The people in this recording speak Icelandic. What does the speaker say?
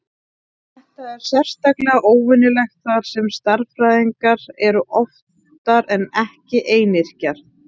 Þetta er sérstaklega óvenjulegt þar sem stærðfræðingar eru oftar en ekki einyrkjar.